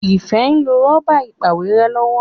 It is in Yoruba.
Ifẹ nlò Rọ́bà ìpàwérẹ́ lọwọ.